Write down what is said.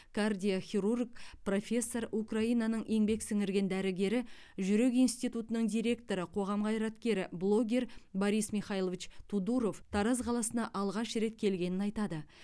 кардиохирург профессор украинаның еңбек сіңірген дәрігері жүрек институтының директоры қоғам қайраткері блогер борис михайлович тодуров тараз қаласына алғаш рет келгенін айтады